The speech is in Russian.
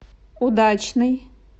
удачный